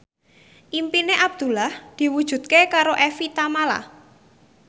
impine Abdullah diwujudke karo Evie Tamala